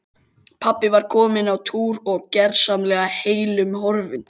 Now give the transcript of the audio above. Pabbi var kominn á túr og gersamlega heillum horfinn.